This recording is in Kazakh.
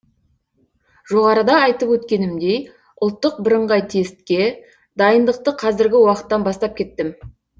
жоғарыда айтып өткенімдей ұлттық бірыңғай тестке дайындықты қазіргі уақыттан бастап кеттім